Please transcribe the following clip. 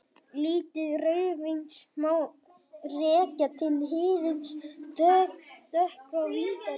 Lit rauðvíns má rekja til hýðis dökkra vínberja.